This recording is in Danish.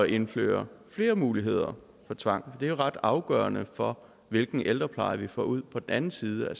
indføre flere muligheder for tvang er ret afgørende for hvilken ældrepleje vi får ud på den anden side af